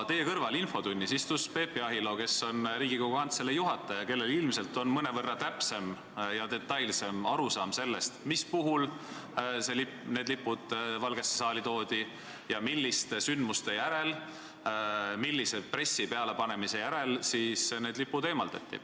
Infotunnis istus teie kõrval Peep Jahilo, kes on Riigikogu Kantselei direktor ja kellel ilmselt on mõnevõrra täpsem arusaam sellest, mis puhul Euroopa Liidu lipud Valgesse saali toodi ja milliste sündmuste järel, millise pressi pealepanemise järel need sealt eemaldati.